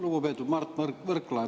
Lugupeetud Mart Võrklaev!